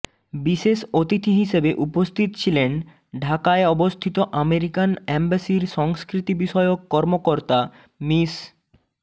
বিশেষ অতিথি হিসেবে উপস্থিত ছিলেন ঢাকায় অবস্থিত আমেরিকান অ্যাম্বাসির সংস্কৃতি বিষয়ক কর্মকর্তা মিস